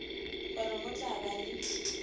gore go tla ba le